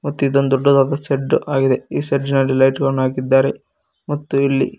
ತೀತೊಂದು ದೊಡ್ಡದಾದ ಶಡ್ಡ್ ಆಗಿದೆ ಈ ಶೆಡ್ಡ್ನಲ್ಲಿ ಲೈಟ್ ಗಳನ್ನು ಹಾಕಿದ್ದಾರೆ ಮತ್ತು ಇಲ್ಲಿ--